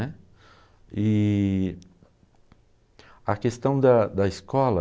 né. E a questão da da escola...